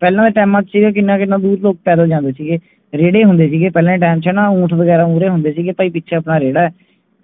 ਪਹਿਲਾ ਦੇ ਟੈਮਾਂ ਚੇ ਕਿਹਨਾਂ ਕਿਹਨਾਂ ਦੂਰ ਲੋਗ ਪੈਦਲ ਜਾਂਦੇ ਸੀਗੇ ਰੇੜੇ ਹੁੰਦੇ ਸੀਗੇ ਪਹਿਲਾਂ ਦੇ time ਚੇ ਨਾ ਉਂਠ ਵਗੈਰਾ ਹੁੰਦੇ ਸੀਗੇ ਕਿ ਪਾਈ ਪਿੱਛੇ ਆਪਣਾ ਰੇੜ੍ਹਾ ਹੈ